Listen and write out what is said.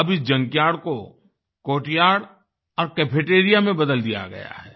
अब इस जंकयार्ड को कोर्टयार्ड और कैफेटेरिया में बदल दिया गया है